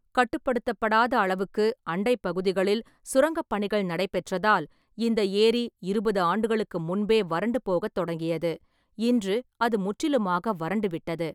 கட்டுப்படுத்தப்படாத அளவுக்கு அண்டை பகுதிகளில் சுரங்கப் பணிகள் நடைபெற்றதால், இந்த ஏரி இருபது ஆண்டுகளுக்கு முன்பே வறண்டு போகத் தொடங்கியது, இன்று அது முற்றிலுமாக வறண்டுவிட்டது.